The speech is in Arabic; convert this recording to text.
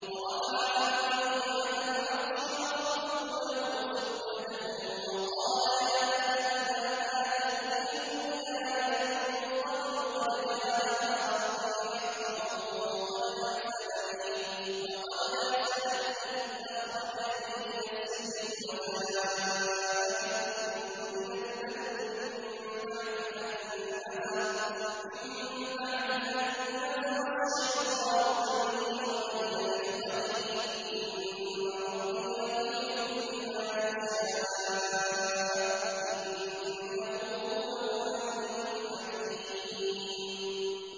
وَرَفَعَ أَبَوَيْهِ عَلَى الْعَرْشِ وَخَرُّوا لَهُ سُجَّدًا ۖ وَقَالَ يَا أَبَتِ هَٰذَا تَأْوِيلُ رُؤْيَايَ مِن قَبْلُ قَدْ جَعَلَهَا رَبِّي حَقًّا ۖ وَقَدْ أَحْسَنَ بِي إِذْ أَخْرَجَنِي مِنَ السِّجْنِ وَجَاءَ بِكُم مِّنَ الْبَدْوِ مِن بَعْدِ أَن نَّزَغَ الشَّيْطَانُ بَيْنِي وَبَيْنَ إِخْوَتِي ۚ إِنَّ رَبِّي لَطِيفٌ لِّمَا يَشَاءُ ۚ إِنَّهُ هُوَ الْعَلِيمُ الْحَكِيمُ